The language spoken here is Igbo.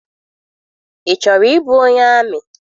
Ị chọrọ ịbụ onye amị?